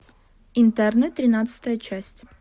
интерны тринадцатая часть